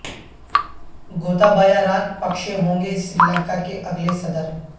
گوتابایا Rajapaksa ہوں گے سری لنکا کے اگلے صدر